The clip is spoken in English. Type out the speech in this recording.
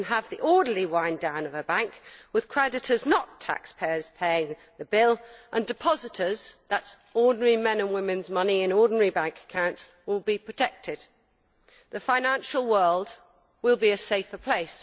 We can have the orderly wind down of a bank with creditors not taxpayers paying the bill, and depositors that is ordinary men and women who have money in ordinary bank accounts will be protected. The financial world will be a safer place.